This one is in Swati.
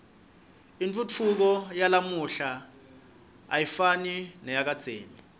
intfutfuko yalamuhla ayifani neyakadzeni